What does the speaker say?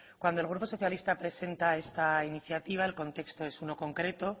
cuando el grupo socialista presenta esta iniciativa el contexto es un no concreto